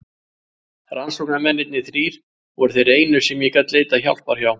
Rannsóknarmennirnir þrír voru þeir einu sem ég gat leitað hjálpar hjá.